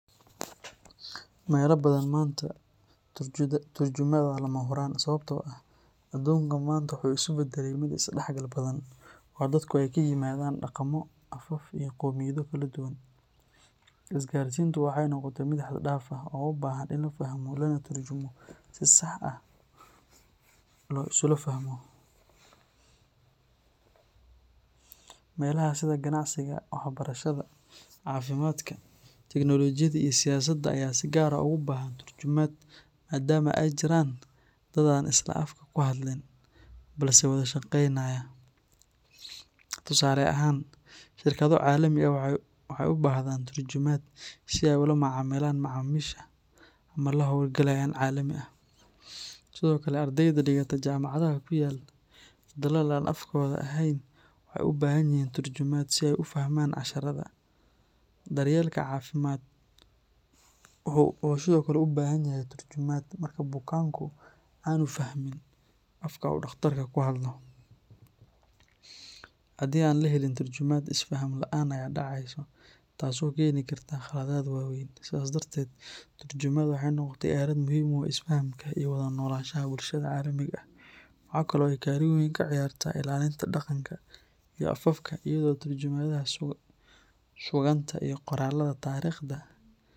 Mela badan maanta turjumaad waa lama huraan sababtoo ah aduunka maanta waxa uu isu beddelay mid isdhexgal badan oo dadku ay ka yimaadaan dhaqamo, afaf iyo qoomiyado kala duwan. Isgaarsiintu waxay noqotay mid xad dhaaf ah oo u baahan in la fahmo lana turjumo si si sax ah loo isula fahmo. Meelaha sida ganacsiga, waxbarashada, caafimaadka, teknoolojiyada iyo siyaasadda ayaa si gaar ah ugu baahan turjumaad maadaama ay jiraan dadka aan isla afka ku hadlin balse wada shaqaynaya. Tusaale ahaan, shirkado caalami ah waxay u baahdaan turjumaad si ay ula macaamilaan macaamiisha ama la-hawlgalayaal caalami ah. Sidoo kale, ardayda dhigata jaamacadaha ku yaal dalal aan afkooda ahayn waxay u baahan yihiin turjumaad si ay u fahmaan casharada. Daryeelka caafimaad wuxuu sidoo kale u baahan yahay turjumaad marka bukaanku aanu fahmin afka uu dhaqtar ku hadlayo. Haddii aan la helin turjumaad, isfaham la’aan ayaa dhacaysa taasoo keeni karta qaladaad waaweyn. Sidaas darteed, turjumaadu waxay noqotay aalad muhiim u ah isfahamka iyo wada noolaanshaha bulshada caalamiga ah. Waxa kale oo ay kaalin weyn ka ciyaartaa ilaalinta dhaqanka iyo afafka iyadoo tarjumaadaha suugaanta iyo qoraallada taariikhda.